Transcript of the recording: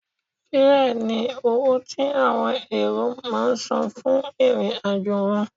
Fẹ́ẹ̀ ni owó tí àwọn èrò máà ń san fún ìrìn-àjò wọn.